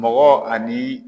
Mɔgɔ ani